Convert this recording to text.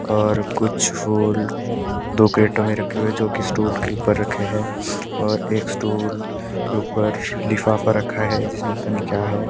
और कुछ फूल दो कैरेटो में रखे हुए है जो स्टूल के ऊपर रखे हैं एक स्टूल के ऊपर लिफाफा रखा है जिसमें पता नहीं क्या है।